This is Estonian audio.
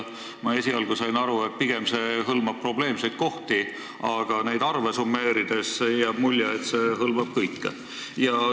Ma esialgu sain aru, et see plaan hõlmab vaid probleemseid kohti, aga neid arve summeerides jääb mulje, et see hõlmab kõike.